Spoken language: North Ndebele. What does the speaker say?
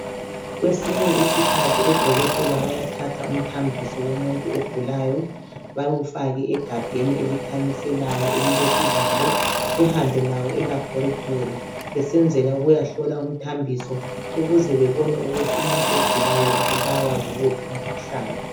Kwesinye isikhathi odokotela bayathatha umthambiso womuntu ogulayo bawufake egabheni elikhanyiselayo elilesivalo behambe lawo e"Laboratory "besenzela ukuyahlola umthambiso ukuze bebone ukuthi umuntu ogulayo ubulawa yiwuphi umkhuhlane.